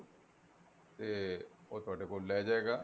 ਤੇ ਉਹ ਤੁਹਾਡੇ ਕੋਲ ਲੈ ਜਾਏਗਾ